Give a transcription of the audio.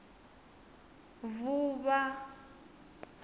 vuvha